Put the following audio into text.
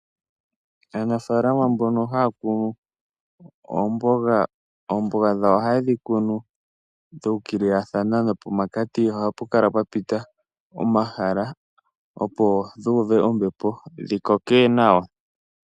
Aanafaalama mbono haya kunu oomboga, oomboga dhawo ohayedhi kunu dha ukililathana nopomakati ohapu kala twapita omahala opo dhu uve ombepo dhikoke nawa.